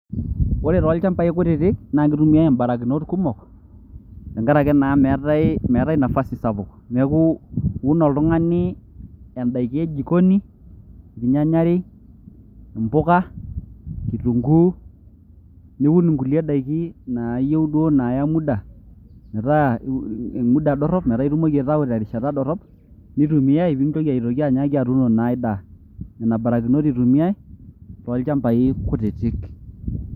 Ore toolchambai kutitik naa kitumia imbarakinot kumok tenkaraki naa meetae nafasi sapuk neku iun oltungani en`daiki e jikoni inyanya are, impuka ,kitunguu niun inkulie daiki naayieu duoo naaya muda metaa iim muda dorrop metaa itumoki aitayu terishata dorrop, nitumiae nintoki naa anyaaki atuuno enkae daa , nena barakinot eitumiae toolchambai kutitik.